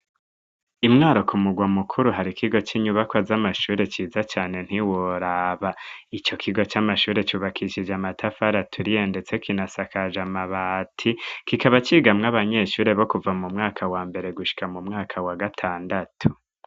Imwaro ku mugwa mukuru hari kigo c'inyubaka z'amashure ciza cane ntiwora, ico kigo c'amashure cubakishije amatafari aturiye ndetse kinasakaje amabati kikaba cigamwo abanyeshure bo kuva mu mwaka wa mbere gusha mu mwaka wa gatandatu.